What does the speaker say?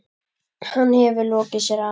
Hann hefur lokið sér af.